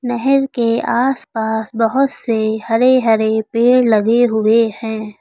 नहेर के आसपास बहोत से हरे हरे पेड़ लगे हुए हैं।